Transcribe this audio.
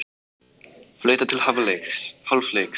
Flautað til hálfleiks